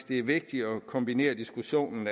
det er vigtigt at kombinere diskussionen